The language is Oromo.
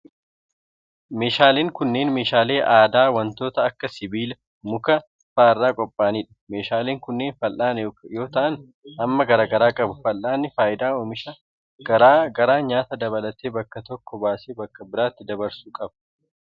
Meeshaaleen kunneen meeshaalee aadaa wantoota akka sibiila, muka faa irraa qopha'anii dha. Meeshaaleen kunneen fal'aana yoo ta'an, hamma garaa garaa qabu. Fal'aanni faayidaa oomisha garaa garaa nyaata dabalatee bakka tokkoo baasee bakka biraatti dabarsuu qaba.